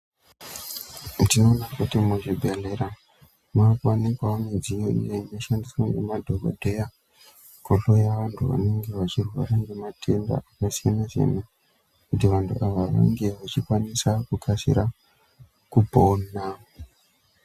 Ndinoona kuti muzvibhedhlera makuwanikwawo mudziyo iyo inoshandiswa ngemadhokodheya kuhloya vantu vanenge vachirwa ngematenda akasiyana siyana kuti vantu ava vange vachikwanira kukasira kupona.